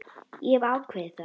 Ég hef ákveðið það.